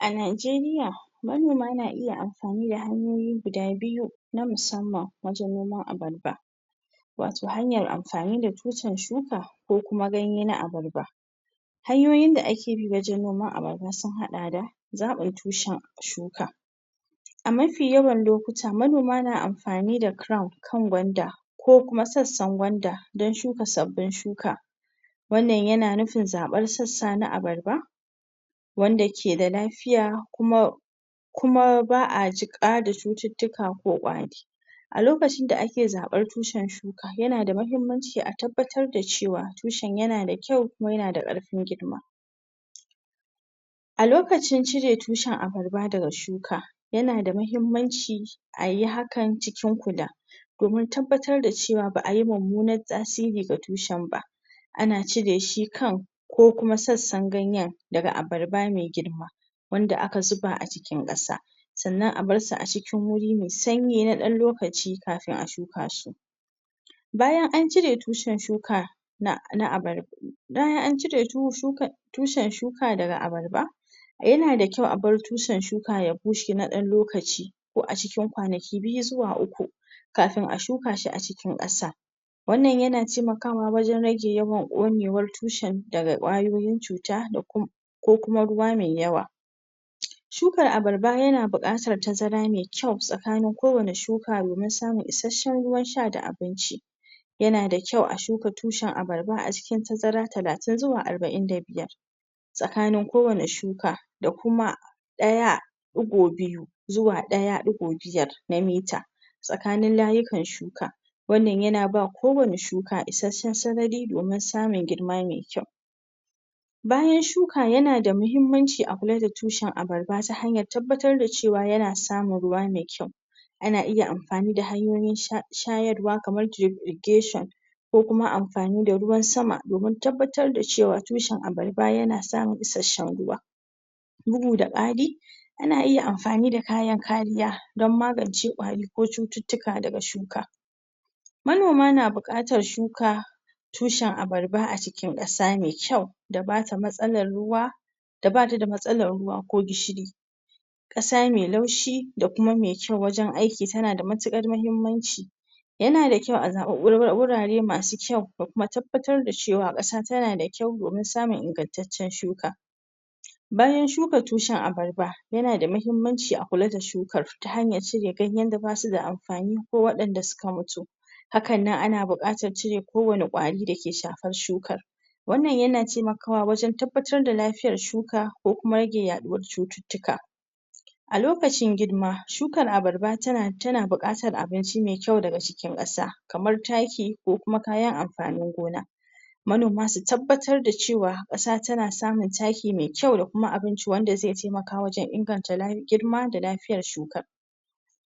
A Najeriya manoma na iya amfani da hanyiyi guda biyu na musamman wajan noman abarba wato hanyar amfani da tushrn shuka kokuma ganye na abarba hanyoyin da ake bi wajan noman abarba sun hada da zabin tushe shuka amafi yawan lokuta manoma na amfani da kirawan kan gwanda ko kuma sassan gwanda don shuka sabbin shuka wannan yana nufin zaban sassa na abarba wanda keda lafiya kuma kuma ba a cika da cututtuka ko kwari a lokacin da ake zaban tushrn shuka yana da mahimmanci a tabbatar da cewa tushen yana da kyau kuma yana da karfin girma a lokacin cire tushen abarba daga shuka yana da mahimmanci ayi hakan cikin kula domin tabbatar da cewa ba ayi mummunan tasiri ga tushen ba ana cire kan ko kuma sassan ganyan daga abarba mai girma wanda aka zubz a cikin kasa sannan a bar sui a cikin wuri mai sanyi na dan lokaci kafin a shuka shi bayan an cire tushen shuka na abarba bayan an cire tushen shuka daga abarba yana da kyau a bar tushen shuka ya bushe na dan lokaci ko a cikin kwanaki biyu zuwa uku kafin a shukashi a cikin kasa wannan yana temakawa wajan rage yawan konewar tushen daga kwayoyin cuta da ku ko kuma ruwa mai yawa shukan abarba yana bukatar tazara mai kyau tsakanin kowani shuka domin samun isashshen ruwa da abinci yana da kyau a shuka tushen abarba a cikin tazara talatin zuwa arbain da biyar tsakanin kowani shuka da kuma daya dugo biyu zuwa daya dugo biyar na mita tsakanin layukan shuka wannan yana ba kowani shuka isashshen sarari domin samun girma mai kyau bayan shuka yana da mahimmanci a kula da tushen abarba ta hanyar tabbatar da cewa yana samun ruwa mai kyau ana iya amfani da hanyoyin shayarwa kamar tirifgeshon ko amfani da ruwan sama domin tabbatar da cewa tushen abarba yana samun isashshen ruwa bugu da kari ana iya amfani da kayan kariya dan magance kwari ko cututtuka daga shuka manoma na bukatar shuka tushan abarba a cikin kasa mai kyau da bata da matsalar ruuwa da bata da matsalar ruwa ko gishiri kasa mai laushi da kuma mai kyau wajan ayki tana da matukar mahimmanci yana da kyau a samu wurare masu kyau da kuma tabbatar da cewa kasa tana da kyau domin samun ingan taccen shuka bayan shuka tushen abarba yana da mahimmanci a kula da shukar ta hanyar cire ganyan da ba su da amfani ko wadan da suka mutu hakannan ana bukatar cire ko wano kwari dake shafar shukar wnnan yana temakawa wajan tabbatar da lafiyar shuka ko kuma rage yaduwar cututtuka a lokcin girma shukar abarba tan bukatar abinci mai kyau daga cikin kasa kamar taki ko kuma kayan amfanin gona manoma su tabbatar da cewa kasa tana samun taki mai kyau da kuma abinci wanda zai temaka wajan inganta nauyin girma da lafiyar shuka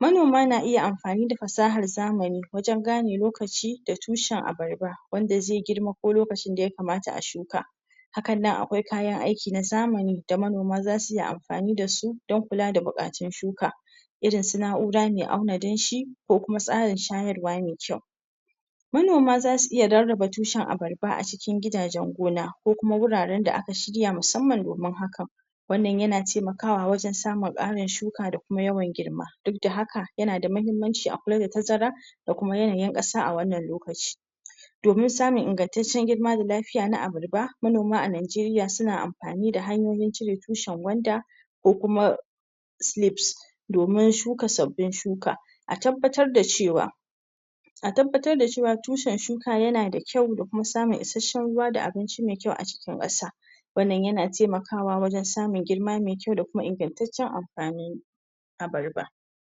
manoma na iya amfani da fasahar zamani wajan gane lokaci da tushen abarba wanda zai girma ko lokacin da ya kamata a shuka hakannan akwai kayan ayki na zamani da manoma za suyi amfani da su dan kula da bukatun shuka irin su na'ura mai auna danshi ko kuma tsarin shayarwa mai kyau manoma za su iya rarraba tushen abarba a cikin gidajen gona, kokuma wuraran da aka shirya domin hakan wannan yana temakawa wajan samun karin shuka da kuma yawan girma duk da haka yana da mahimmanci a kula da tazara, da kuma yanayin kasa a wannan lokaci domin samun ingantaccen dirma da lafiya na abarba manoma a Najeriya suna amfani da hanyoyin cire tushen kwanda ko kuma silifs domin shuka sabbin shuka a tabbatar da cewa atabbatar da cewa tushen shuka yana da kyau da kuma samun isashshen ruwa da abinci mai kyau a cikin kasa wannan yana temakawa wajan samun girma mai kyau da kuma ingantaccen amfanin gona abarba